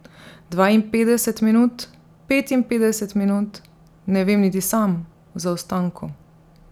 Dvainpetdeset minut, petinpetdeset minut, ne vem niti sam, v zaostanku.